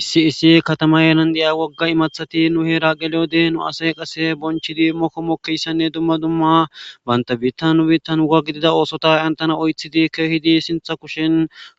Issi issi katama yean deya wogga imathati nu heera geleyode nu asay qase bonchidi mokko mokkeyssanne dumma dumma bayntabiittan nu biittan huga gidida oosota antana oythidi keehidi sintha kushin